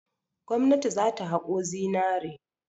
Gwamnati za ta haƙo zinare.